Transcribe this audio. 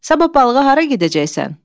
Sabah balığa hara gedəcəksən?